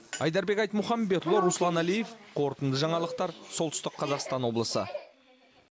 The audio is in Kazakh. айдарбек айтмұхамбетұлы руслан әлиев қорытынды жаңалықтар солтүстік қазақстан облысы